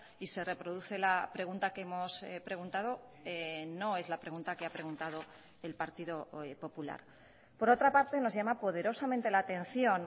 y se reproduce la pregunta que hemos preguntado no es la pregunta que ha preguntado el partido popular por otra parte nos llama poderosamente la atención